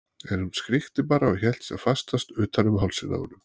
En hún skríkti bara og hélt sem fastast utan um hálsinn á honum.